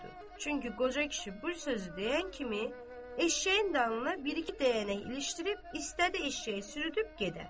Çünki qoca kişi bu sözü deyən kimi eşşəyin dalına bir iki dəyənək ilişdirib istədi eşşəyi sürüdüüb gedə.